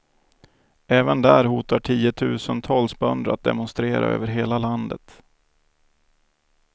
Även där hotar tiotusentals bönder att demonstrera över hela landet.